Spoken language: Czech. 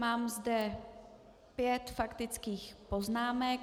Mám zde pět faktických poznámek.